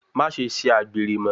Maṣe ṣe àgbèrè mọ́!